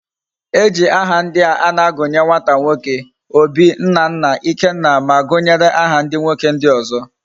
Eji aha ndia ana agunye nwata nwoke; Obi, Nnanna, Ikenna, ma gunyere aha ndi nwoke ndi ozo